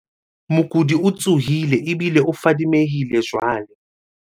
mokudi o tsohile ebile o fadimehile jwale